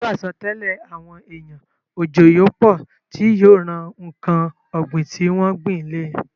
Pẹ̀lú àsọtẹ́lẹ̀ àwọn èèyàn, òjò yóò pọ̀ tí yóò ran ǹkan ògbìn tí wọ́n gbìn le